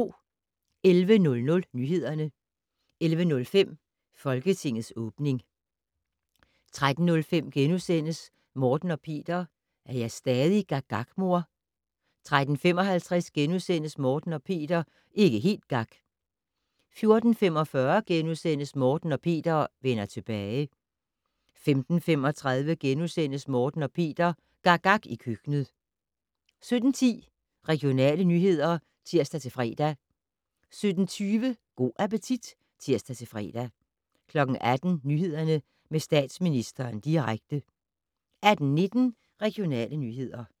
11:00: Nyhederne 11:05: Folketingets åbning 13:05: Morten og Peter - er jeg stadig gak gak, mor? * 13:55: Morten og Peter - ikke helt gak! * 14:45: Morten og Peter - vender tilbage * 15:35: Morten og Peter - gak gak i køkkenet * 17:10: Regionale nyheder (tir-fre) 17:20: Go' appetit (tir-fre) 18:00: Nyhederne - med Statsministeren direkte 18:19: Regionale nyheder